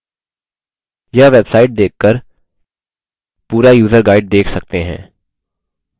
यह website देख कर पूरा यूज़र guide देख सकते हैं